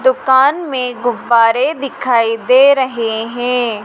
दुकान में गुब्बारे दिखाई दे रहे हैं।